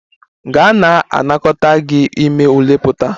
Gaa na-anakọta gị ime ule pụta!